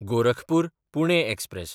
गोरखपूर–पुणे express